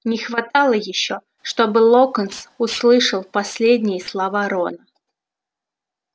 не хватало ещё чтобы локонс услышал последние слова рона